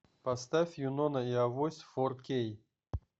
поставь юнона и авось фор кей